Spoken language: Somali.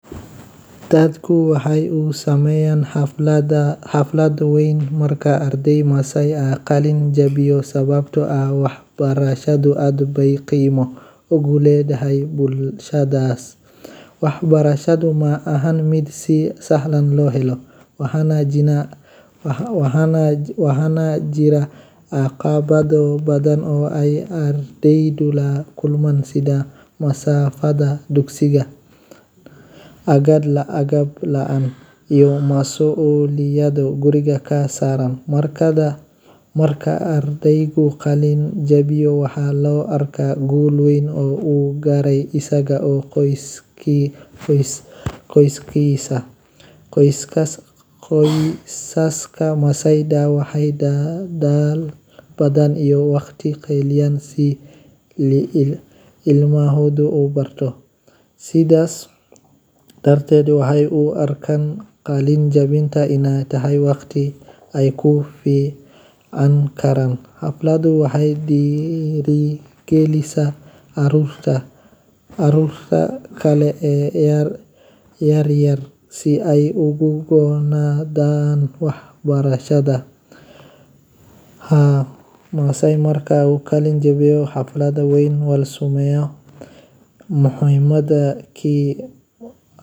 Dadka waxey u sameyan marka arday Maasai ah qalin jabiyo, dadka deegaanka iyo qoyska ardayga waxay u sameeyaan xaflad weyn oo dhaqameed ah oo muujinaysa farxad, sharaf iyo taageero. Maadaama waxbarashada heer sare ay weli tahay arrin muhiim ah oo loo arko guul weyn gaar ahaan bulsho dhaqameed sida Maasai-da, qalin-jabinta waxay astaan u tahay horumar iyo iftiin cusub oo nolosha ah. Xafladda waxaa ka dhaca heeso dhaqameed, ciyaaro, iyo labis gaar ah oo dhaqanka ah, iyadoo mararka qaar la gawracayo neef xoolo ah sida lo’ ama ido si loo maamuuso munaasabadda.